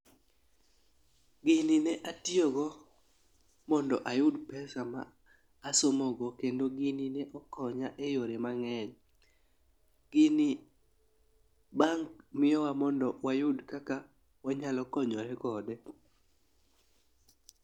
Gini ne atiyo go mondo ayud pesa ma asomo go kendo gini ne okonya e yore mang'eny. Gini bang' miyowa mondo wayud kaka wanyalo konyore kode.